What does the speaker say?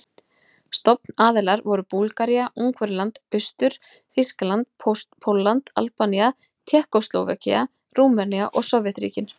Stofnaðilar voru Búlgaría, Ungverjaland, Austur-Þýskaland, Pólland, Albanía, Tékkóslóvakía, Rúmenía og Sovétríkin.